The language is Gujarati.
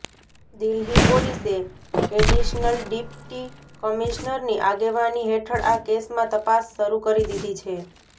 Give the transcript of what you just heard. દિલ્હી પોલીસે એડિશનલ ડિપ્ટી કમિશનરની આગેવાની હેઠળ આ કેસમાં તપાસ શરૂ કરી દીધી છે